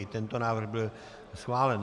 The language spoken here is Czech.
I tento návrh byl schválen.